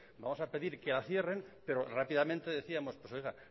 vamos a pedir que la cierren pero rápidamente decíamos pues oiga